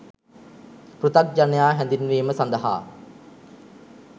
පෘථග්ජනයා හැඳින්වීම සඳහා